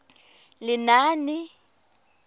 lenaane